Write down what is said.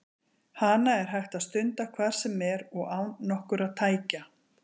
Hana er hægt að stunda hvar sem er og án nokkurra tækja.